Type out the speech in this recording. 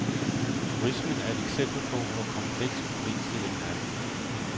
Turismen er et eksempel på, hvor kompleks problemstillingen er.